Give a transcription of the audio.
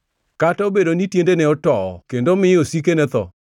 Kata obedo ni tiendene towo kendo miyo osikene tho,